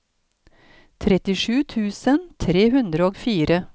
trettisju tusen tre hundre og fire